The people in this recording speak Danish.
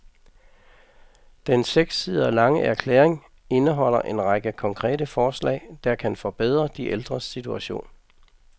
Den seks sider lange erklæring indeholder en række konkrete forslag, der kan forbedre de ældres situation.